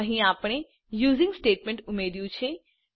અહીં આપણે using statement ઉમેર્યું છે